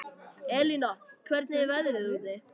Elína, hvernig er veðrið úti?